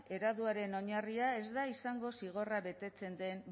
ereduaren oinarria ez da izango zigorra betetzen den